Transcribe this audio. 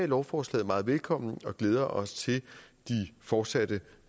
lovforslaget meget velkommen og glæder os til de fortsatte